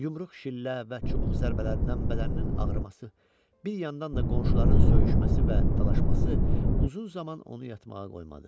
Yumruq, şillə və çubuq zərbələrindən bədəninin ağrıması, bir yandan da qonşuların söyüşməsi və dalaşması uzun zaman onu yatmağa qoymadı.